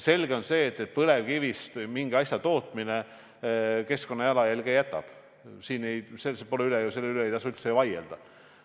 Selge on see, et põlevkivist mingi asja tootmine jätab keskkonda jalajälje, selle üle ei tasu üldse vaieldagi.